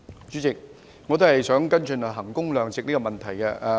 主席，我也想跟進衡工量值的問題。